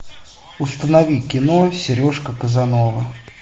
установи кино сережка казанова